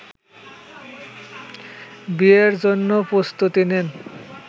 বিয়ের জন্যও প্রস্তুতি নেন